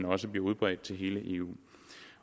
også bliver udbredt til hele eu